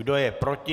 Kdo je proti?